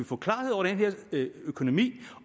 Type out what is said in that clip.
få klarhed over økonomien